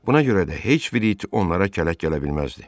Buna görə də heç bir it onlara kələk gələ bilməzdi.